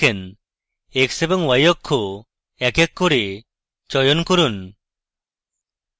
x এবং y অক্ষ এক এক করে চয়ন করুন